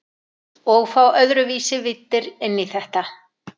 Og fá öðruvísi víddir inn í þetta.